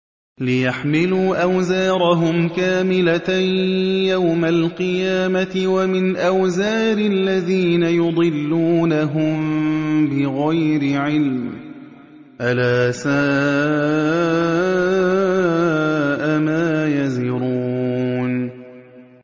لِيَحْمِلُوا أَوْزَارَهُمْ كَامِلَةً يَوْمَ الْقِيَامَةِ ۙ وَمِنْ أَوْزَارِ الَّذِينَ يُضِلُّونَهُم بِغَيْرِ عِلْمٍ ۗ أَلَا سَاءَ مَا يَزِرُونَ